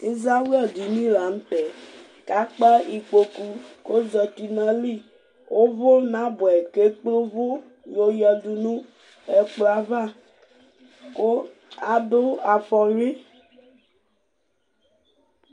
ɩzawla dɩnɩ la nʊtɛ kakpa ikpoku kʊ ozətɩ nʊ ayili ʊvʊnabʊɛyɩ kʊ ekple ʊvʊ yoyadʊ nʊ ɛkplɔava kʊ adʊ afɔyʊi